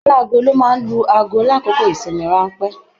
Aláàgo ló máa n lu aago l'akoko ìsinmi ranpẹ̀.